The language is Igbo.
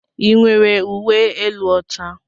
Ị nwere uwe elu ọcha?